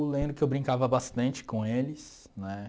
Eu lembro que eu brincava bastante com eles, né?